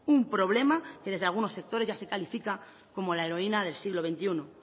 un problema que desde algunos sectores ya se califica como la heroína del siglo veintiuno